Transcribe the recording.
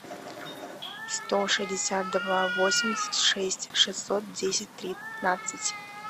сто шестьдесят два восемьдесят шесть шестьсот десять тринадцать